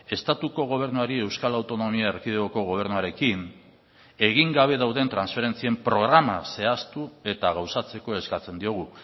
estatuko gobernuari euskal autonomia erkidegoko gobernuarekin egin gabe dauden transferentzien programa zehaztu eta gauzatzeko eskatzen diogu